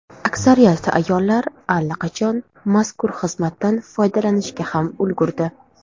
Aksariyat ayollar allaqachon mazkur xizmatdan foydalanishga ham ulgurdi.